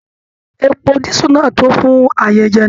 Èpò disu náà tó fún ayẹyẹ náà.